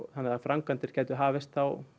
þannig að framkvæmdir gætu þá hafist